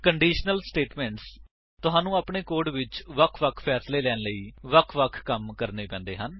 conditional statements ਤੁਹਾਨੂੰ ਆਪਣੇ code ਵਿੱਚ ਵੱਖ ਵਖ ਫੈਸਲੈ ਲੈਣ ਲਈ ਵਖ ਵਖ ਕਮ ਕਰਨੇ ਪੈਂਦੇ ਹਨ